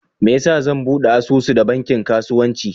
Meyasa zan ɓude asusu da banki kasuwanci?